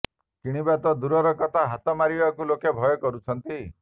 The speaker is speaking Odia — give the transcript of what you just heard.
କିଣିବା ତ ଦୂରର କଥା ହାତ ମାରିବାକୁ ଲୋକେ ଭୟ କରୁଛନ୍ତି